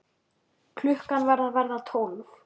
Klukkan var að verða tólf.